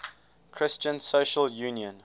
christian social union